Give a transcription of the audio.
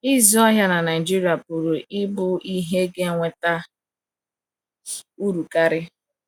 Ịzụ ahịa na Nigeria pụrụ ịbụ ihe ga - eweta uru karị.